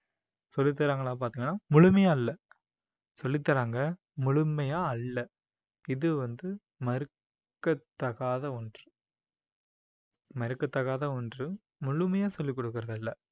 சொல்லித் தராங்களா பாத்தீங்கன்னா முழுமையா இல்லை சொல்லித் தராங்க முழுமையா அல்ல இது வந்து மறுக்கத்தகாத ஒன்று மறுக்கத்தகாத ஒன்று முழுமையா சொல்லிக் கொடுக்கிறது இல்லை